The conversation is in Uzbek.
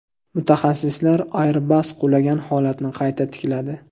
Mutaxassislar Airbus qulagan holatni qayta tikladi .